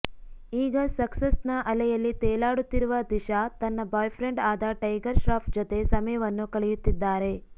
ಈಗ ಸಕ್ಸಸ್ ನ ಅಲೆಯಲ್ಲಿ ತೇಲಾಡುತ್ತಿರುವ ದಿಶಾ ತನ್ನ ಬಾಯ್ ಫ್ರೆಂಡ್ ಆದ ಟೈಗರ್ ಶ್ರಾಫ್ ಜೊತೆ ಸಮಯವನ್ನು ಕಳೆಯುತ್ತಿದ್ದಾರೆ